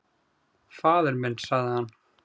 """Faðir minn, sagði hann."""